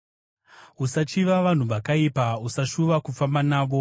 Usachiva vanhu vakaipa, usashuva kufamba navo;